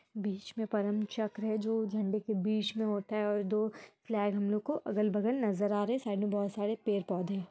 बिच में परमचक्र है जो झण्डे के बीच में होता है और दो फ्लैग हमलोगो को अगल-वगल नजर आ रहे है साइड में बहुत सारे पेड़-पौधे--